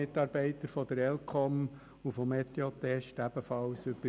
Ein Teil wird für Lars Guggisberg stimmen, ein anderer Teil für Daniel Klauser.